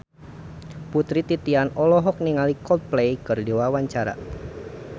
Putri Titian olohok ningali Coldplay keur diwawancara